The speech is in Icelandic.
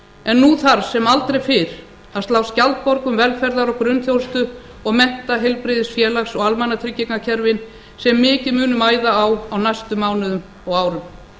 en nú þarf sem aldrei fyrr að slá skjaldborg um velferðar og grunnþjónustu og mennta heilbrigðis félags og almannatryggingakerfin sem mikið mun mæða á á næstu mánuðum og árum